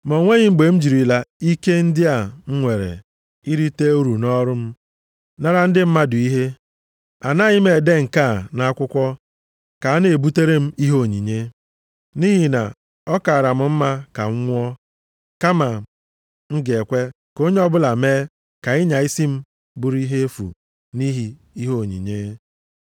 Ma o nweghị mgbe m jirila ike ndị a m nwere irite uru nʼọrụ m nara ndị mmadụ ihe. Anaghị m ede nke a nʼakwụkwọ ka a na-ebutere m ihe onyinye. Nʼihi na ọ kaara m mma ka m nwụọ kama m ga-ekwe ka onye ọbụla mee ka ịnya isi m bụrụ ihe efu nʼihi ihe onyinye.